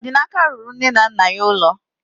Odinaka rụrụ nne na nna ya ụlọ